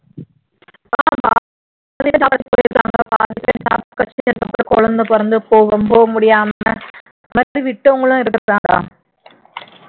குழந்தை பிறந்து போம் போக முடியாம